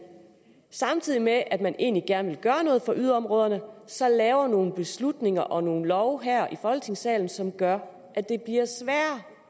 samtidig med at man egentlig gerne vil gøre noget for yderområderne så laver nogle beslutninger og nogle love her i folketingssalen som gør